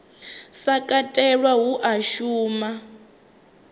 sa katelwa hu a shuma